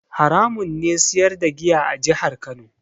Haramun ne siyar da giya a jihar Kano.